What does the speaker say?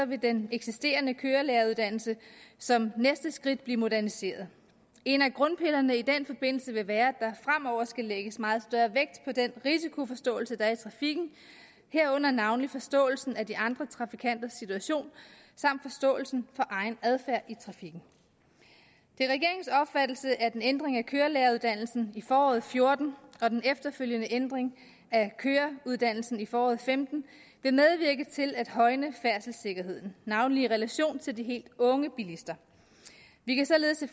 vil den eksisterende kørelæreruddannelse som næste skridt blive moderniseret en af grundpillerne vil i den forbindelse være at fremover skal lægges meget større vægt på den risikoforståelse der er af trafikken herunder navnlig forståelsen af de andre trafikanters situation samt forståelsen for egen adfærd i trafikken det er regeringens opfattelse at en ændring af kørelæreruddannelsen i foråret og fjorten og den efterfølgende ændring af køreuddannelsen i foråret femten vil medvirke til at højne færdselssikkerheden navnlig i relation til de helt unge bilister vi kan således